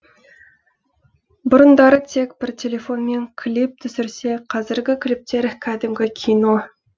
бұрындары тек бір телефонмен клип түсірсе қазіргі клиптер кәдімгі кино